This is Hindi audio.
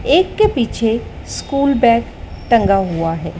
एक के पीछे स्कूल बैग टंगा हुआ है।